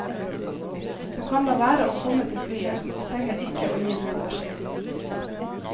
Du kan la være å komme til flyet og trenger ikke å gi noen beskjed.